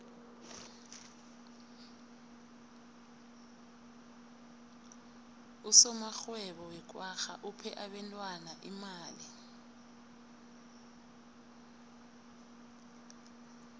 usomarhwebo wekwagga uphe abentwana imali